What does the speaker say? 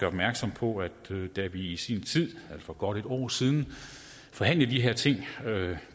opmærksom på at da vi i sin tid for godt et år siden forhandlede de her ting var det